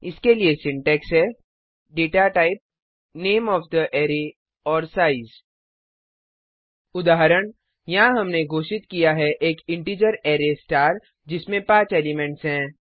इसके लिए सिंटेक्स है data type name of the array array का नाम और साइज उदाहरण यहाँ हमने घोषित किया है एक इन्टिजर अरै स्टार जिसमें 5 एलिमेंट्स हैं